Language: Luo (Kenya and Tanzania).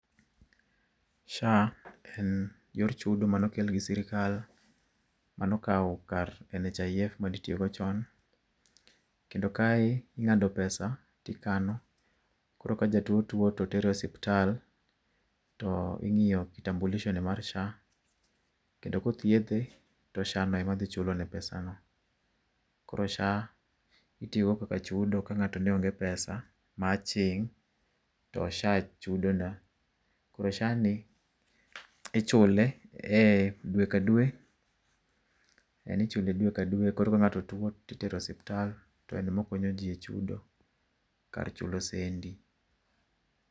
SHA en, yor chudo manokel gi sirikal, manokaw kar NHIF manitiyogo chon. Kendo kae ing'ado pesa tikano, koro ka jatuo tuo totere osiptal to ing'iyo kitambulisho ne mar SHA, kendo kothiedhe to SHA no ema dhi chulo ne pesa no. Koro SHA itiyo go kaka chudo ka ng'ato neonge pesa ma aching' to SHA. Koro SHA ni, ichule e dwe ka dwe, en ichule dwe ka dwe koro ka ng'ato tuo titero osiptal, to en mokonyo ji e chudo, kar chulo sendi